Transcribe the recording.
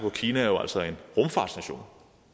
at kina jo altså er en rumfartsnation